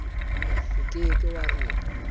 o ke ke wa e